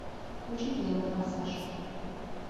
включи первый форсаж